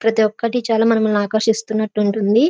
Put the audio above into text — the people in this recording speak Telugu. ప్రతి ఒక్కటి చాల ఆకర్శిస్తున్నట్టు ఉంటుంది.